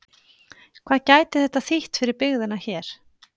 Hvað gæti þetta þýtt fyrir byggðina hér?